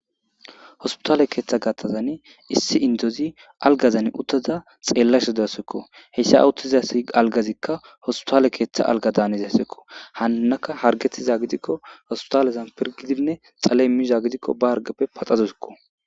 hospitale keeththa gatazani issi indozi algazan uttaza xeellasha deasekko heyssa awuttizasi algazikka hospitaale keeththa alga daaniza sekko hanaka hargetiza gidikko hospitalezan pirgidinne xaley miizha gidikko ba argappe paxadosikko